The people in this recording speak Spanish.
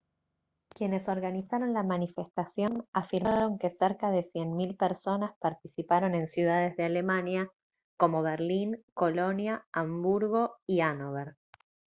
quienes organizaron la manifestación afirmaron que cerca de 100 000 personas participaron en ciudades de alemania como berlín colonia hamburgo y hannover